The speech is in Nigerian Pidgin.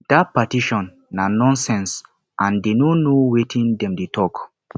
dat petition na nonsense and dey no know wetin dem dey talk